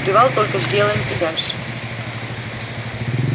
привал только сделаем и дальше